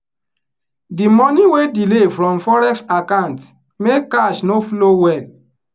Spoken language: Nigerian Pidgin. the money wey delay from forex account make cash no flow well.